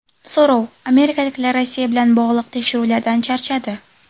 So‘rov: amerikaliklar Rossiya bilan bog‘liq tekshiruvlardan charchadi.